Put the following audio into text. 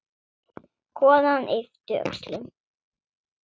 Konan yppti öxlum.